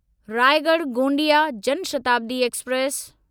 Raigad Gondia Jan Shatabdi express